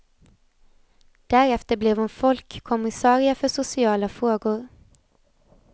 Därefter blev hon folkkommissarie för sociala frågor.